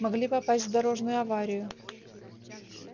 могли попасть в дорожную аварию